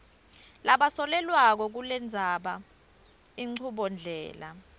labasolelwako kukulendzela inchubondlela